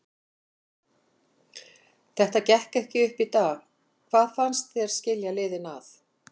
Þetta gekk ekki upp í dag, hvað fannst þér skilja liðin að?